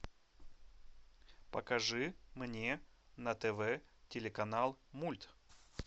покажи мне на тв телеканал мульт